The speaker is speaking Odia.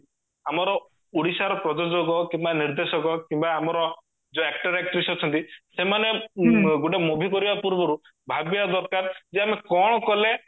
ଆମର ଓଡିଶାର ପ୍ରଯୋଜକ କିମ୍ବା ନିର୍ଦେଶକ କିମ୍ବା ଯୋଉ ଆମର actor actress ଅଛନ୍ତି ସେମାନେ ଗୋଟେ movie କରିବା ପୂର୍ବରୁ ଭାବିବା ଦରକାର ଯେ ଆମେ କଣ କଲେ